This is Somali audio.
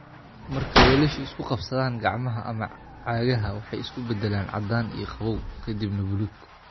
Marka weelashu isku qabsadaan, gacmaha ama cagaha waxay isu beddelaan caddaan iyo qabow, ka dibna buluug.